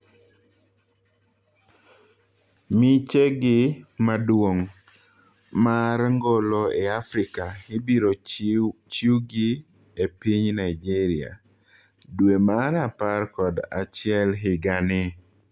Miche gi maduong' mar ngolo ei Afrika IBIRO CHIUGI EPINY Nigeria dwee mar apar kod achiel higa ni.